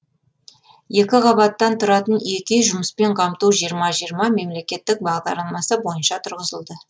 екі қабаттан тұратын екі үй жұмыспен қамту жиырма жиырма мемлекеттік бағдарламасы бойынша тұрғызылды